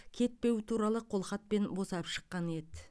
кетпеу туралы қолхатпен босап шыққан еді